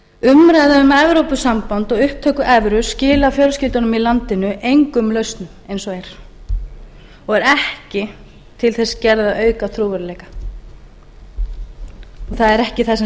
umræða um evrópusamband og upptöku evru skilar fjölskyldunum í landinu engum lausnum eins og er og er ekki til þess gerð að auka trúverðugleika það er ekki það sem